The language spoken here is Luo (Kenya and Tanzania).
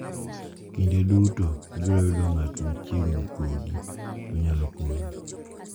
Kinde duto ibiro yudo ng’at machiegni kodi ma nyalo konyi.